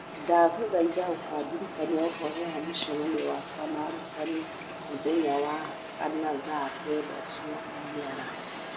ndagũthaitha ũkandirikania ũhoro wa mũcemanio wakwa na arutani muthenya wa kana thaa kenda cia mĩaraho